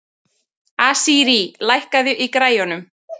Asírí, lækkaðu í græjunum.